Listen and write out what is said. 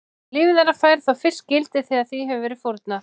Líf þeirra fær þá fyrst gildi þegar því hefur verið fórnað.